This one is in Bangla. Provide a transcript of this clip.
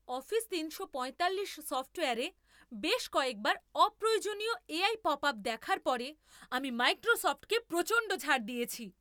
অফিস তিনশো পঁয়তাল্লিশ সফ্টওয়্যারে বেশ কয়েকবার অপ্রয়োজনীয় এআই পপআপ দেখার পরে আমি মাইক্রোসফ্টকে প্রচণ্ড ঝাড় দিয়েছি।